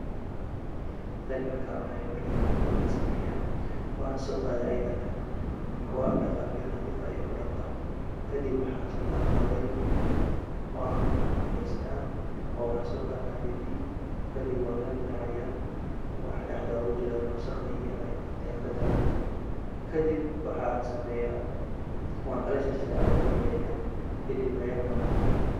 Tani markan cunaayo marka hore waxan sameeya wanso qaada ayada dhan marka wan dhaqa biyo nadiif ayan kudhaqaa kadib waxan soo qaata wel oo an kukula nafeysta oo waxan soo qata mindi kadib wan kala dilaaciya waxa dhaxda ogu jiro iyo wasaqda yar yar ayan ka daadiya kadib waxan sameeya wankala jarjara oo wan yaryareeya kadib ayan cuna